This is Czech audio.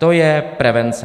To je prevence.